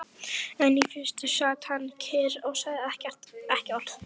En í fyrstu sat hann kyrr og sagði ekki orð.